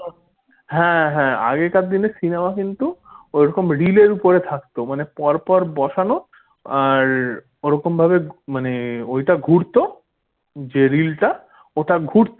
হ্যাঁ হ্যাঁ আগেকার দিনে cinema কিন্তু ওরকম রিলের উপর থাকতো। মানে পরপর বসানো আর ওইরকম ভাবে মানে ওটা ঘুরত যে রিলটা ওটা ঘুরত।